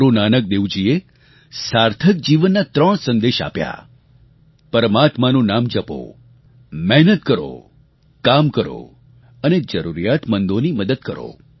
ગુરુ નાનક દેવજીએ સાર્થક જીવનના ત્રણ સંદેશ આપ્યા પરમાત્માનું નામ જપો મહેનત કરો કામ કરો અને જરૂરિયાતમંદોની મદદ કરો